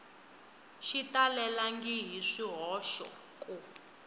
xi talelangi hi swihoxo ku